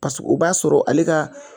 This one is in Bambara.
Paseke o b'a sɔrɔ ale ka